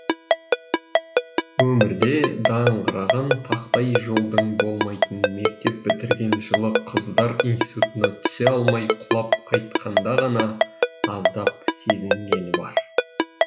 өмірде даңғыраған тақтай жолдың болмайтынын мектеп бітірген жылы қыздар институтына түсе алмай құлап қайтқанда ғана аздап сезінгені бар